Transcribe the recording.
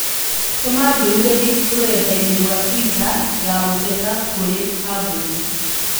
Tũma ndũmĩrĩri rũrenda-inī rũa tũita ya gũteta kũrĩĩ kambuni